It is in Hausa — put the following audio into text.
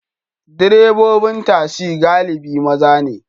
Direbobin tasi galibi maza ne.